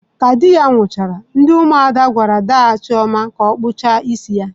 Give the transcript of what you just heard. Ka di ya nwusiri, ndi umuada gwara daa Chioma ka okpucha isi ya.